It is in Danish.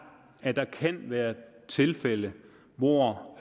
at der kan være tilfælde hvor